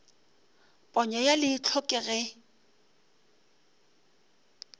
ponyo ya leihlo ke ge